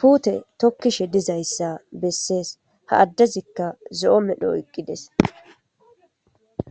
puute tokkishe dizayssa bessees ha addezikka zo7o medho eqqides.